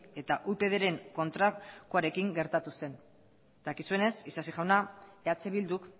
eta upydren kontrakoarekin gertatu zen dakizuenez isasi jauna eh bilduk